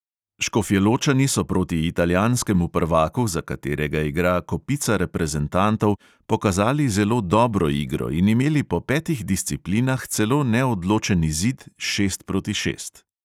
Škofjeločani so proti italijanskemu prvaku, za katerega igra kopica reprezentantov, pokazali zelo dobro igro in imeli po petih disciplinah celo neodločen izid – šest proti šest.